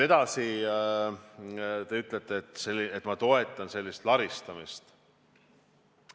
Edasi, te ütlesite, et ma toetan laristamist.